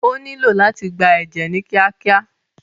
Ó nílo láti gba ẹ̀jẹ̀ ni kíákíá.